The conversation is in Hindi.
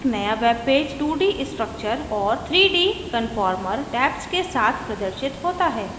एक नया वेबपेज 2d structure और 3d conformer tabs के साथ प्रदर्शित होता है